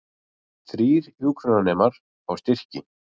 Þrír hjúkrunarnemar fá styrki